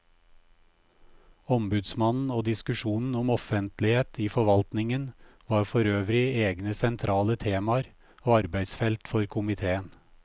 Ombudsmannen og diskusjonen om offentlighet i forvaltningen var forøvrig egne sentrale temaer og arbeidsfelt for komiteen.